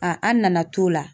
Aa an nana t'o la.